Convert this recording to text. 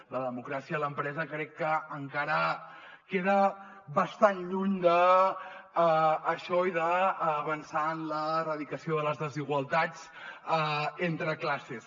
la democràcia a l’empresa crec que encara queda bastant lluny d’això i d’avançar en l’erradicació de les desigualtats entre clas·ses